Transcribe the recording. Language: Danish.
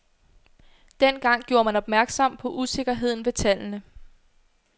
Dengang gjorde man opmærksom på usikkerheden ved tallene.